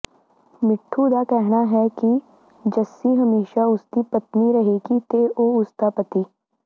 ਮਿੱਠੂ ਦਾ ਕਹਿਣਾ ਹੈ ਕਿ ਜੱਸੀ ਹਮੇਸ਼ਾ ਉਸਦੀ ਪਤਨੀ ਰਹੇਗੀ ਤੇ ਉਹ ਉਸਦਾ ਪਤੀ